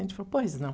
Ele falou, pois não.